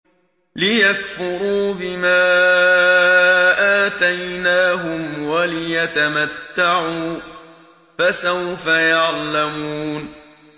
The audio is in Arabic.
لِيَكْفُرُوا بِمَا آتَيْنَاهُمْ وَلِيَتَمَتَّعُوا ۖ فَسَوْفَ يَعْلَمُونَ